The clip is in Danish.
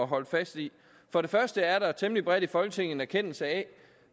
holde fast i for det første er der temmelig bredt i folketinget en erkendelse af